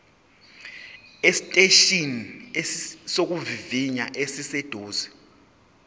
esiteshini sokuvivinya esiseduze